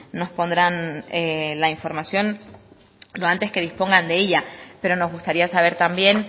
nos pondrán la información lo antes que dispongan de ella pero nos gustaría saber también